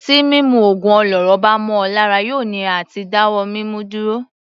Tí mímu ògùn olóró bá mọ ọ lára yóò nira àti dá wọ́ mímu dúró.